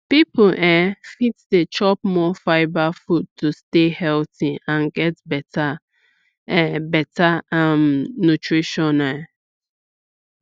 people um fit dey chop more fibre food to stay healthy and get better um better um nutrition um